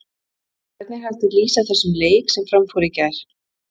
Hvernig er hægt að lýsa þessum leik sem fram fór í gær?